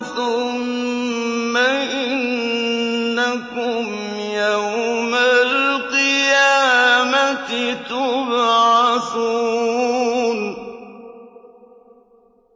ثُمَّ إِنَّكُمْ يَوْمَ الْقِيَامَةِ تُبْعَثُونَ